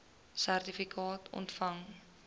sertifikaat ontvang